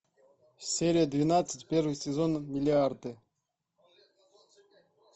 серия двенадцать первый сезон миллиарды